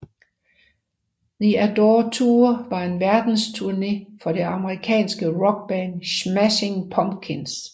The Adore Tour var en verdensturné af det amerikanske rockband Smashing Pumpkins